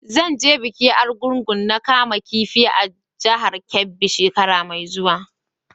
Zan je bikin Argungu na kaman kifi a jihar Kebbi shekara mai zuwa.